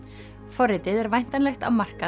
forritið er væntanlegt á markað